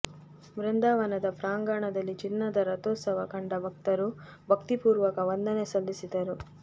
ಬೃಂದಾವನದ ಪ್ರಾಂಗಣದಲ್ಲಿ ಚಿನ್ನದ ರಥೋತ್ಸವ ಕಂಡ ಭಕ್ತರು ಭಕ್ತಿಪೂರ್ವಕ ವಂದನೆ ಸಲ್ಲಿಸಿದರು